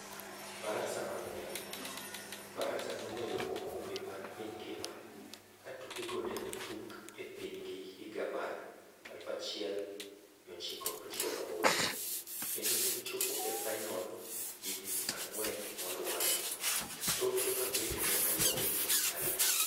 Faransa mang'ula: Faransa noloyo okombe mar piny ngima ka tukego nene otug e pinygi higa mar 1998, kendo ne gi chopo e fainol higni ang'wen moluore toke ma bende no logi gi Italia.